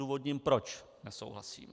Odůvodním, proč nesouhlasím.